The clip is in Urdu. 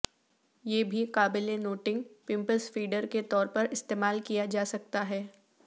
یہ بھی قابل نوٹنگ پمپس فیڈر کے طور پر استعمال کیا جا سکتا ہے